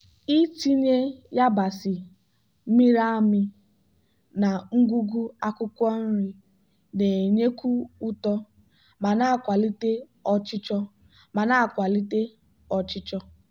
ịtinye yabasị mịrị amị na ngwugwu akwụkwọ nri na-enyekwu ụtọ ma na-akwalite ọchịchọ. ma na-akwalite ọchịchọ.